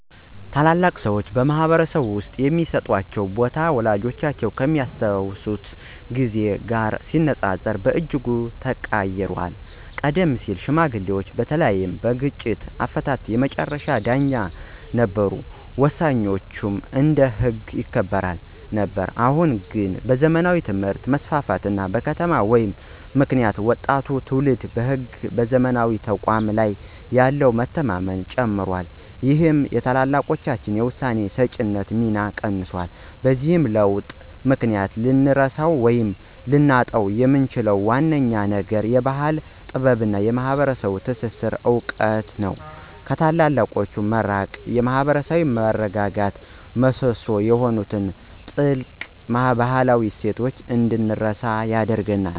ታላላቅ ሰዎች በማኅበረሰብ ውስጥ የሚሰጣቸው ቦታ ወላጆቻችን ከሚያስታውሱት ጊዜ ጋር ሲነጻጸር በእጅጉ ተቀይሯል። ቀደም ሲል ሽማግሌዎች በተለይም በግጭት አፈታት የመጨረሻ ዳኞች ነበሩ፤ ውሳኔያቸውም እንደ ሕግ ይከበር ነበር። አሁን ግን በዘመናዊ ትምህርት መስፋፋት እና በከተማ ሕይወት ምክንያት ወጣቱ ትውልድ በሕግና በዘመናዊ ተቋማት ላይ ያለው መተማመን ጨምሯል ይህም የታላላቆችን የውሳኔ ሰጪነት ሚና ቀንሶታል። በዚህ ለውጥ ምክንያት ልንረሳው ወይም ልናጣው የምንችለው ዋነኛው ነገር የባሕል ጥበብና የማኅበረሰብ ትስስር እውቀት ነው። ከታላላቆች መራቅ የማኅበራዊ መረጋጋት ምሰሶ የሆኑትን ጥልቅ ባህላዊ እሴቶች እንድንረሳ ያደርገናል።